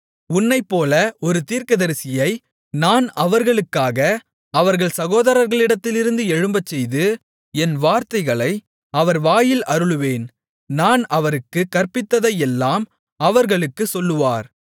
உன்னைப்போல ஒரு தீர்க்கதரிசியை நான் அவர்களுக்காக அவர்கள் சகோதரர்களிடத்திலிருந்து எழும்பச்செய்து என் வார்த்தைகளை அவர் வாயில் அருளுவேன் நான் அவருக்குக் கற்பிப்பதையெல்லாம் அவர்களுக்குச் சொல்லுவார்